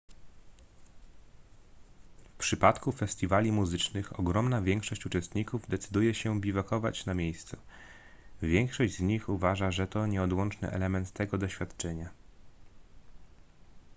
w przypadku festiwali muzycznych ogromna większość uczestników decyduje się biwakować na miejscu większość z nich uważa że to nieodłączny element tego doświadczenia